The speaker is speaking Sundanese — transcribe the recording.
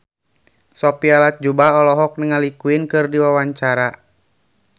Sophia Latjuba olohok ningali Queen keur diwawancara